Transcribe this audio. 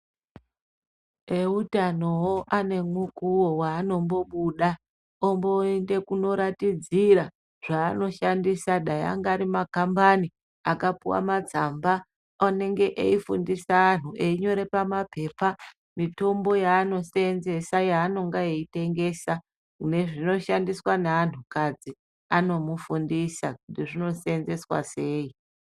Eutanowo ane mukuwo waanombobuda omboende koratidzira zvaanoshandisa dai angari makambani akapuwa matsamba anenge eifundise antu einyore pamapepa mitombo yaanoseenzesa yaanenge eitengesa nezvinoshandiswa neantukadzi anomufundisa kuti zvinoseenzeswa sei.